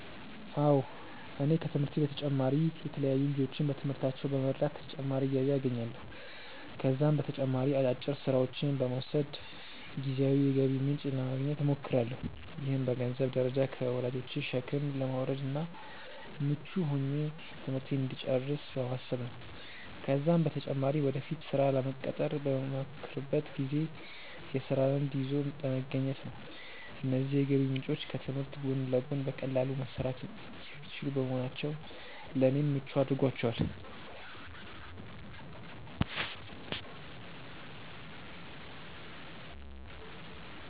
አዎ እኔ ከትምህርቴ በተጨማሪ የተለያዩ ልጆችን በትምህርታቸው በመርዳት ተጨማሪ ገቢ አገኛለሁ። ከዛም በተጨማሪ አጫጭር ስራዎችን በመውሰድ ጊዜያዊ የገቢ ምንጭ ለማግኘት እሞክራለሁ። ይህም በገንዘንብ ደረጃ ከወላጆቼ ሸክም ለመውረድ እና ምቹ ሆኜ ትምህርቴን እንድጨርስ በማሰብ ነው ነው። ከዛም በተጨማሪ ወደፊት ስራ ለመቀጠር በመሞክርበት ጊዜ የስራ ልምድ ይዞ ለመገኘት ነው። እነዚህ የገቢ ምንጮች ከትምህርት ጎን ለጎን በቀላሉ መሰራት የሚችሉ በመሆናቸው ለኔ ምቹ አድርጓቸዋል።